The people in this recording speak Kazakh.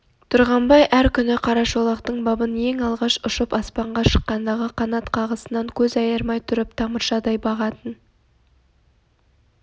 тұрғанбай әр күні қарашолақтың бабын ең алғаш ұшып аспанға шыққандағы қанат қағысынан көз айырмай тұрып тамыршыдай бағатын